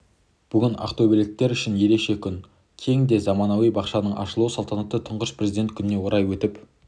бүгін ақтөбеліктер үшін ерекше күн кең де заманауи бақшаның ашылу салтанаты тұңғыш президент күніне орай өтіп